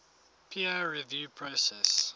peer review process